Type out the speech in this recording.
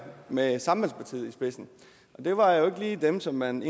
med sambandspartiet i spidsen og det var jo ikke lige dem som man